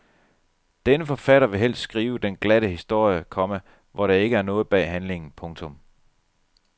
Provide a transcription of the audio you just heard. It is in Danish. Denne forfatter vil helst skrive den glatte historie, komma hvor der ikke er noget bag handlingen. punktum